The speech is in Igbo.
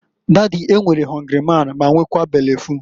"Dady, e nwere họngrị man ya nwekaa bele ful.